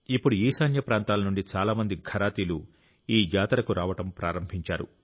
ఇప్పుడు ఈశాన్య ప్రాంతాల నుండి చాలా మంది ఘరాతీలు ఈ జాతరకు రావడం ప్రారంభించారు